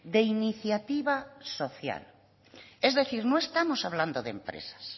de iniciativa social es decir no estamos hablando de empresas